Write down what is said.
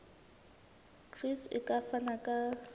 gcis e ka fana ka